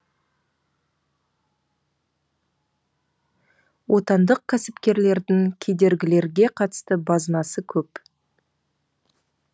отандық кәсіпкерлердің кедергілерге қатысты базынасы көп